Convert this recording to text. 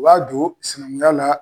O y'a don simiyaana.